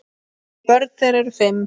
Börn þeirra eru fimm.